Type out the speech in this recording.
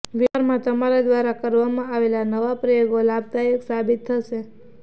વેપારમાં તમારા દ્વારા કરવામાં આવેલા નવા પ્રયોગો લાભદાયક સાબિત થશે